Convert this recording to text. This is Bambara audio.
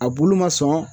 A bulu ma sɔn